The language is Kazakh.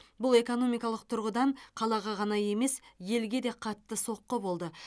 бұл экономикалық тұрғыдан қалаға ғана емес елге де қатты соққы болды